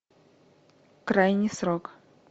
крайний срок